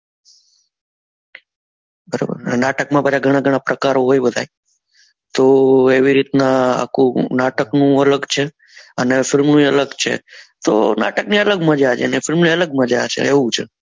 નાટક માં બધા ગણા ગણા પ્રકારો હોય બધાય જો એવી રીત ના આખું નાટક નું અલગ છે અને film ઓ એ અલગ છે તો નાટક ની અલગ મજા છે ને film ની અલગ મજા છે એવું છે